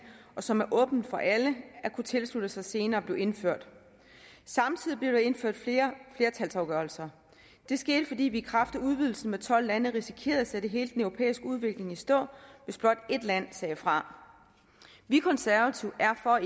som er åbent for alle at kunne tilslutte sig senere blev indført samtidig blev der indført flere flertalsafgørelser det skete fordi vi i kraft af udvidelsen med tolv lande risikerede at sætte hele den europæiske udvikling i stå hvis blot ét land sagde fra vi konservative er for